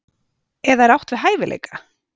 Eða er átt við hæfileika?